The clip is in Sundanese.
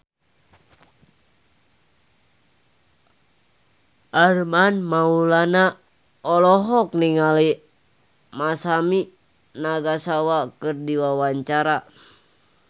Armand Maulana olohok ningali Masami Nagasawa keur diwawancara